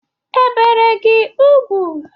E bere gị ugwu?